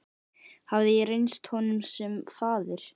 Hafði ég reynst honum sem faðir?